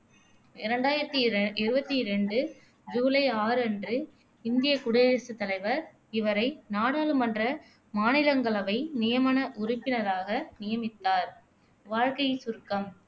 இரண்டாயிரத்தி இர இருவத்தி ரெண்டு ஜூலை ஆறு அன்று இந்தியக் குடியரசுத் தலைவர் இவரை நாடாளுமன்ற மாநிலங்களவை நியமன உறுப்பினராக நியமித்தார் வாழ்க்கைச் சுருக்கம்